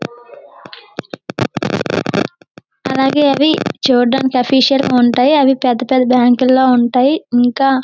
అలాగే అవి చూడడానికి ఆఫిషల్ గా ఉంటాయి అవి పేద పేద బ్యాంకులో ఉంటాయి ఇంకా.